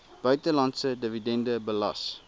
buitelandse dividende belas